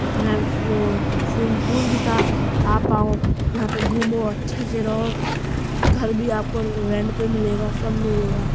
वो swimming pool भी था आप आओ यहाँ पे घूमो अच्छे से रहो घर भी आपको रेंट पे मिलेगा सब मिलेगा।